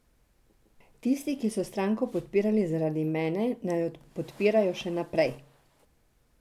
Tisti, ki so stranko podpirali zaradi mene, naj jo podpirajo še naprej.